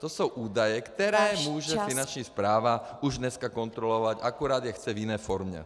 To jsou údaje, které může Finanční správa už dneska kontrolovat, akorát je chce v jiné formě.